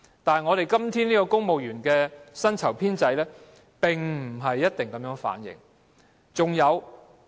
但是，香港今天的公務員薪酬制度並不一定反映這情況。